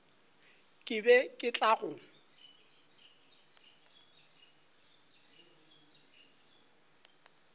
ke be ke tla go